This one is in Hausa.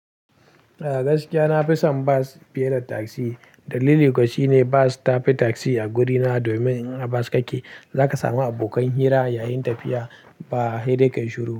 A gaskiya na fi son bas fiye da taksi. Dalili kuwa shine bas ta fi taksi a wurina domin in a bas kake, za ka samu abokan hira yayin tafiya ba a hirar ka yi shuru.